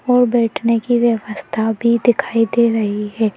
और बैठने की व्यवस्था भी दिखाई दे रही है।